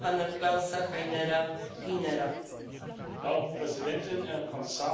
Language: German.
Frau Präsidentin, Herr Kommissar, meine Damen und Herren Abgeordneten!